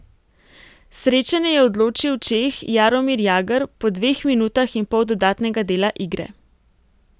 Srečanje je odločil Čeh Jaromir Jagr po dveh minutah in pol dodatnega dela igre.